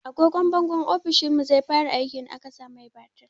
Agogwan bangon ofishinmu zai fara aiki in aka sa mai batiri.